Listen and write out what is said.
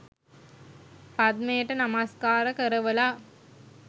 පද්මයට නමස්කාර කරවලා